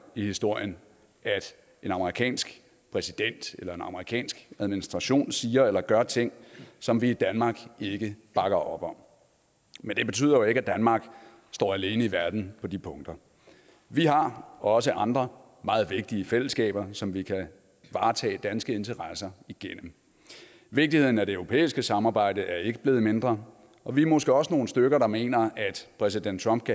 i historien at en amerikansk præsident eller en amerikansk administration siger eller gør ting som vi i danmark ikke bakker op om men det betyder jo ikke at danmark står alene i verden på de punkter vi har også andre meget vigtige fællesskaber som vi kan varetage danske interesser igennem vigtigheden af det europæiske samarbejde er ikke blevet mindre og vi er måske også nogle stykker der mener at præsident trump